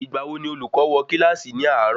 Ìgbà wo ni olùkọ́ wo kílàsì ni àárò?